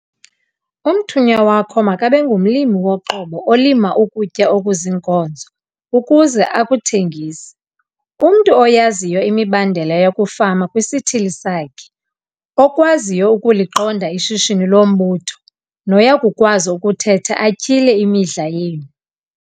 Umthunywa wakho makabe ngumlimi woqobo olima ukutya okuziinkozo ukuze akuthengise, umntu oyaziyo imibandela yokufama kwisithili sakhe, okwaziyo ukuliqonda ishishini lombutho noya kukwazi ukuthetha atyhile imidla yenu.